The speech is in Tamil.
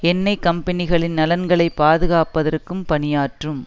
எண்ணெய் கம்பெனிகளின் நலன்களை பாதுகாப்பதற்கும் பணியாற்றும்